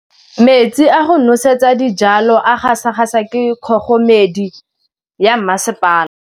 Metsi a go nosetsa dijalo a gasa gasa ke kgogomedi ya masepala.